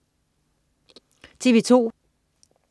TV2: